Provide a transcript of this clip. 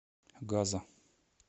газа